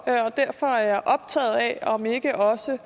og derfor er jeg optaget af om ikke også